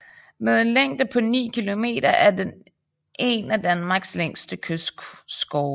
Med en længde på 9 km er den en af Danmarks længste kystskove